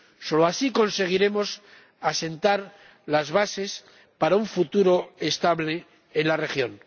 Solo así conseguiremos asentar las bases para un futuro estable en la región.